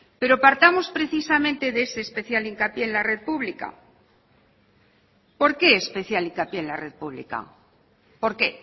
pero partamos precisamente de ese especial hincapié en la red pública por qué especial hincapié en la red pública por qué